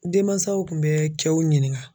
Denmansaw kun bɛ cɛw ɲininka.